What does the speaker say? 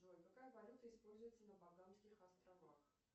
джой какая валюта используется на багамских островах